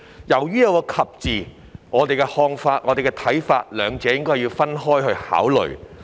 由於兩者以"及"字相連，我們的看法是該兩部分應要分開考慮。